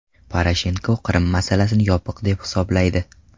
Poroshenko Qrim masalasini yopiq deb hisoblaydi.